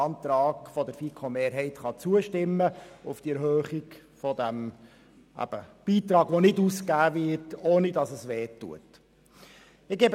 Deshalb sind wir der Meinung, man könne dem Antrag auf den Betrag, der nicht ausgegeben wurde und nicht weh tut, zustimmen.